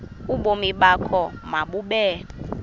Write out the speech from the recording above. ubomi bakho mabube